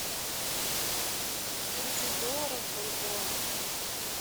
тридцать долларов в бальбоа